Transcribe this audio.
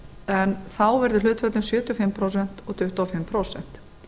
en þá verði hlut sjötíu og fimm prósent og tuttugu og fimm prósent